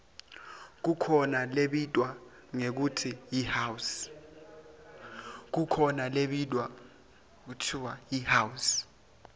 kukhona lebitwa ngekutsi yihouse